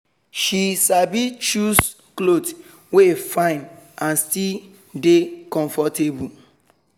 she sabi choose cloth wey fine and still dey comfortable